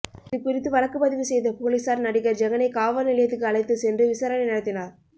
இதுகுறித்து வழக்குப்பதிவு செய்த போலீசார் நடிகர் ஜெகனை காவல்நிலையத்துக்கு அழைத்து சென்று விசாரணை நடத்தினர்